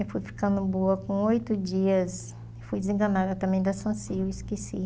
Eu fui ficando boa com oito dias, fui desenganada também da, esqueci.